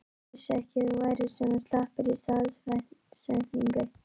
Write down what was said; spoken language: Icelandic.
Ég vissi ekki að þú værir svona slappur í stafsetningu!